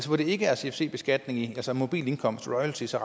hvor det ikke er cfc beskatning altså mobil indkomst som royalties og